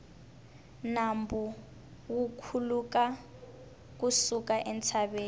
nambu wu khuluka ku suka entshaveni